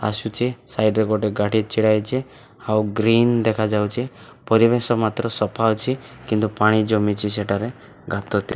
ଆସୁଚି ସାଇଟ୍ ରେ ଗୋଟେ ଗାଡ଼ି ଛିଡ଼ା ହେଇଚି ଆଉ ଗ୍ରୀନ ଦେଖାଯାଉଚି ପରିବେଶ ମାତ୍ର ସଫା ଅଛି କିନ୍ତୁ ପାଣି ଜମିଚି ସେଠାରେ ଗାତଟେ --